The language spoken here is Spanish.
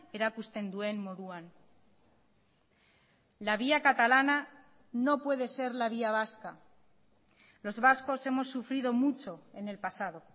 erakusten duen moduan la vía catalana no puede ser la vía vasca los vascos hemos sufrido mucho en el pasado